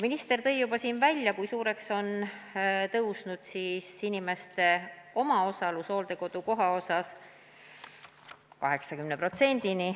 Minister tõi juba siin ära, kui suureks on tõusnud inimeste omaosalus hooldekodukoha maksmisel – 80%-ni.